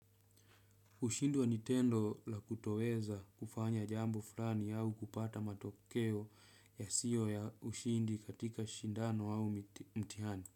Kushindwa ni tendo la kutoweza kufanya jambo fulani au kupata matokeo yasiyo ya ushindi katika shindano au mtihani.